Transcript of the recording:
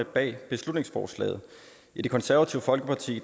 bag beslutningsforslaget i det konservative folkeparti